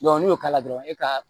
n'i y'o k'a la dɔrɔn i ka